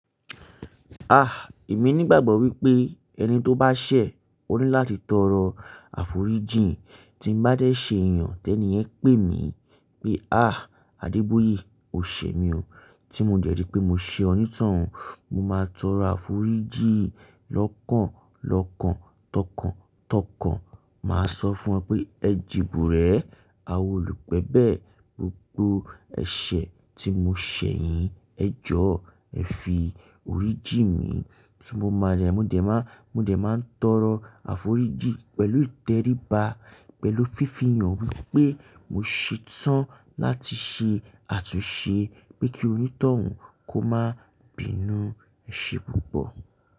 Ah, èmi nígbàgbọ́ wípé ẹni tó bá ṣẹ̀, ó ní láti tọrọ àforíjìn. Tí ń bá dé ṣe èèyàn, tẹ́ni yẹn pè mí pé "àh Adeboye, o ṣe mi o." Tí mo dẹ̀ rí pé mo ṣe onítọ̀hún, mo máa tọrọ àforíjìn lọ́kàn lọ́kàn, tọkàn tọkàn. Màá sọ fún wọn pé ẹjẹ ebùrẹ́, awò olù gbẹbẹ̀, gbogbo ẹ̀ṣẹ̀ tí mo ṣẹ̀ yín, ẹ jọ́ ẹ fi orìjí mi tí mo máa yẹ. Mò dẹ̀ máa, mo dẹ̀ máa ń tọrọ àforíjìn pẹ̀lú ìtẹríba, pẹ̀lú fífihàn wípé mo ṣe tán láti ṣe àtúnṣe pé kí onítọ̀hún kó máa bínú ẹ̀ṣẹ̀ púpọ̀.